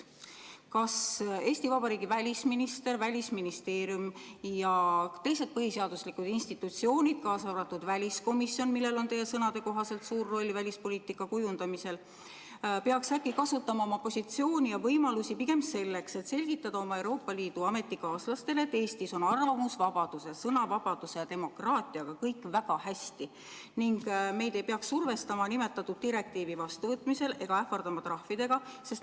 Kas Eesti Vabariigi välisminister, Välisministeerium ja teised põhiseaduslikud institutsioonid, kaasa arvatud väliskomisjon, millel on teie sõnade kohaselt suur roll välispoliitika kujundamisel, peaks äkki kasutama oma positsiooni ja võimalusi pigem selleks, et selgitada oma Euroopa Liidu ametikaaslastele, et Eestis on arvamusvabaduse, sõnavabaduse ja demokraatiaga kõik väga hästi ning meid ei peaks survestama nimetatud direktiivi vastuvõtmiseks ega ähvardama trahvidega?